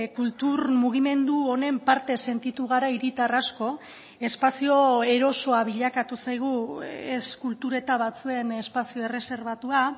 kultur mugimendu honen parte sentitu gara hiritar asko espazio erosoa bilakatu zaigu ez kultur eta batzuen espazio erreserbatua